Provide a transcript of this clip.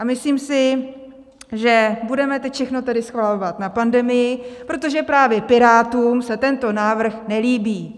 A myslím si, že budeme teď všechno tedy svalovat na pandemii, protože právě Pirátům se tento návrh nelíbí.